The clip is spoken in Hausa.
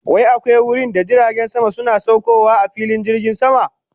Wai akwai wurinda jiragen sama suna saukowa a filin jirgin sama?